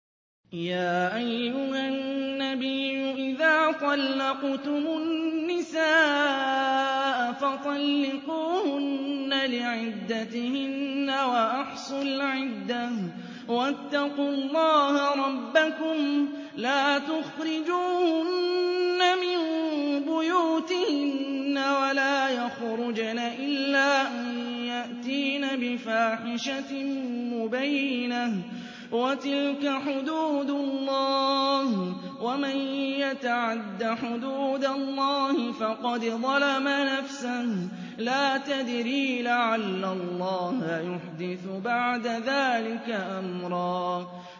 يَا أَيُّهَا النَّبِيُّ إِذَا طَلَّقْتُمُ النِّسَاءَ فَطَلِّقُوهُنَّ لِعِدَّتِهِنَّ وَأَحْصُوا الْعِدَّةَ ۖ وَاتَّقُوا اللَّهَ رَبَّكُمْ ۖ لَا تُخْرِجُوهُنَّ مِن بُيُوتِهِنَّ وَلَا يَخْرُجْنَ إِلَّا أَن يَأْتِينَ بِفَاحِشَةٍ مُّبَيِّنَةٍ ۚ وَتِلْكَ حُدُودُ اللَّهِ ۚ وَمَن يَتَعَدَّ حُدُودَ اللَّهِ فَقَدْ ظَلَمَ نَفْسَهُ ۚ لَا تَدْرِي لَعَلَّ اللَّهَ يُحْدِثُ بَعْدَ ذَٰلِكَ أَمْرًا